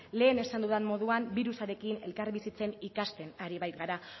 lehen esan dudan moduan birusarekin elkarbizitzen ikasten ari baikara